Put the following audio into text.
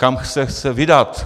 Kam se chce vydat?